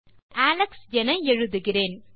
ஆகவே அலெக்ஸ் என எழுதுகிறேன்